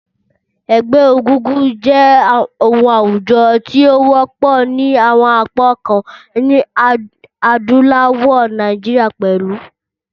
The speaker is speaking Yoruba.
Ẹgbẹ́ egúngún jẹ́ oun àwùjo ti o wọ́pọ̀ ni àwon apá kan nílẹ̀ adúláwò, Naijiria pẹ̀lu.